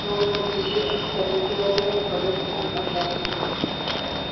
новость о случившемся облетела ферму подобно пожару